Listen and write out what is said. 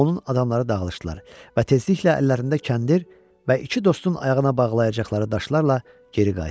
Onun adamları dağılışdılar və tezliklə əllərində kəndir və iki dostun ayağına bağlayacaqları daşlarla geri qayıtdılar.